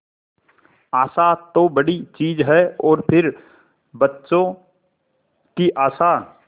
आशा तो बड़ी चीज है और फिर बच्चों की आशा